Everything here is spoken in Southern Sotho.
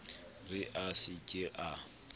re a se ke a